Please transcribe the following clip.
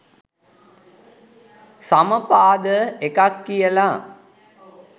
සමපාද එකක් කියල